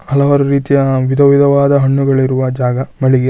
ಹಲವಾರು ರೀತಿಯ ವಿಧ ವಿಧವಾದ ಹಣ್ಣುಗಳು ಇರುವ ಜಾಗ ಮಳಿಗೆ.